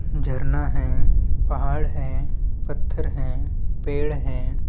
झरना है पहाड़ है पत्थर है पेड़ है।